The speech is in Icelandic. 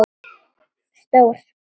Stór